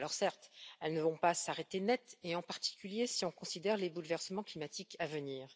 Certes, elles ne vont pas s'arrêter net, en particulier si on considère les bouleversements climatiques à venir.